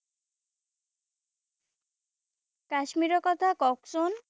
কাশ্মীৰৰ কথা কওঁকচোন।